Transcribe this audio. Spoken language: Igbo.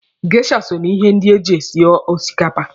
Geisha so na ihe ndị eji esi osikapa.